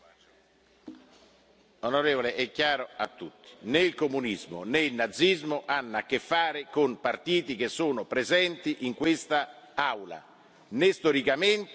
Onorevole, è chiaro a tutti né il comunismo né il nazismo hanno a che fare con partiti che sono presenti in quest'Aula, né storicamente, né politicamente.